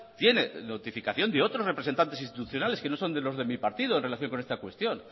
tiene notificación de otros representantes institucionales que no son de los de mi partido en relación con esta cuestión